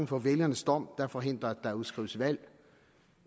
for vælgernes dom der forhindrer at der udskrives valg